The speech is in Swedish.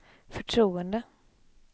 förtroende